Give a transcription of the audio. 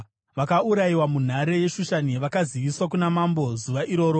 Vakaurayiwa munhare yeShushani vakaziviswa kuna mambo zuva iroro.